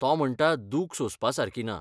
तो म्हणटा, दूख सोंसपा सारकी ना.